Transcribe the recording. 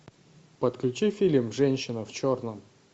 подключи фильм женщина в черном